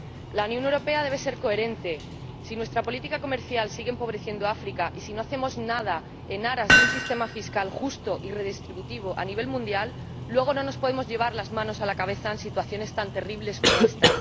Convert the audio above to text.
La Unión Europea debe ser coherente. Si nuestra política comercial sigue empobreciendo a África y si no hacemos nada en aras de un sistema fiscal justo y redistributivo a nivel mundial, luego no nos podemos llevar las manos a la cabeza ante situaciones tan terribles como esta.